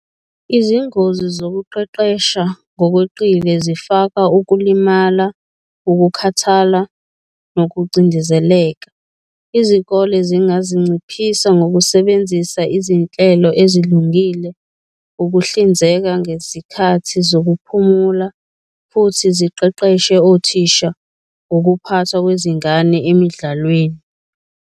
Izingozi zokuqeqesha ngokweqile zifaka ukulimala, ukukhathala nokucindezeleka. Izikole zingazinciphisa ngokusebenza izinhlelo ezilungile, ukuhlinzeka ngezikhathi zokuphumula futhi siqeqeshe othisha ngokuphathwa kwezingane emidlalweni.